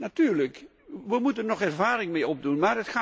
Natuurlijk, wij moeten er nog ervaring mee opdoen.